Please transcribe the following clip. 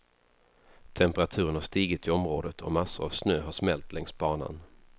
Temperaturen har stigit i området och massor av snö har smält längs banan.